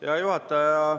Hea juhataja!